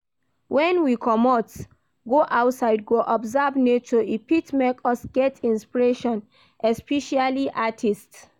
When we comot go outside go observe nature e fit make us get inspiration especially artists